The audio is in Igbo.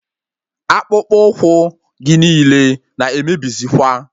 Akpụkpu ụkwụ gị niile na emebizikwa